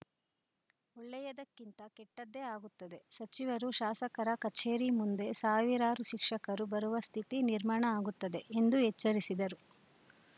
ಒಳ್ಳೆಯದಕ್ಕಿಂತ ಕೆಟ್ಟದ್ದೇ ಆಗುತ್ತದೆ ಸಚಿವರು ಶಾಸಕರ ಕಚೇರಿ ಮುಂದೆ ಸಾವಿರಾರು ಶಿಕ್ಷಕರು ಬರುವ ಸ್ಥಿತಿ ನಿರ್ಮಾಣ ಆಗುತ್ತದೆ ಎಂದು ಎಚ್ಚರಿಸಿದರು